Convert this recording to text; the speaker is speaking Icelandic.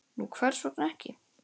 Nú hvers vegna ekki?